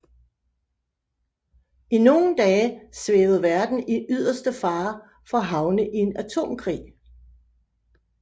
I nogle dage svævede verden i yderste fare for at havne i en atomkrig